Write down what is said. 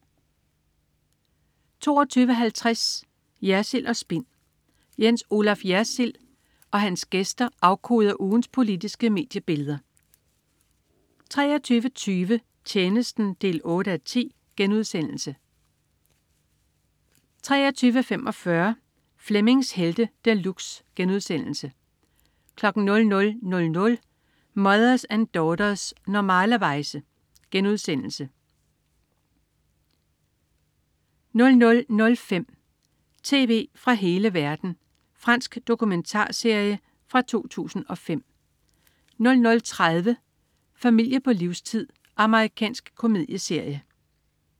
22.50 Jersild & Spin. DR2's Jens Olaf Jersild og hans gæster afkoder ugens politiske mediebilleder 23.20 Tjenesten 8:10* 23.45 Flemmings Helte De Luxe* 00.00 Mothers and Daughters. Normalerweize* 00.05 Tv fra hele verden. Fransk dokumentarserie fra 2005 00.30 Familie på livstid. Amerikansk komedieserie